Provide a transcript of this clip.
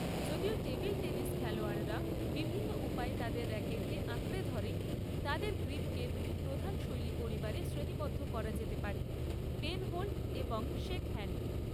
যদিও table tennis খেলোয়াড়রা বিভিন্ন উপায়ে তাদের র‍্যাকেটকে আঁকড়ে ধরে, তাদের গ্রিপকে দুটি প্রধান শৈলী পরিবারে শ্রেণীবদ্ধ করা যেতে পারে, পেনহোল্ড এবং শেকহ্যান্ড।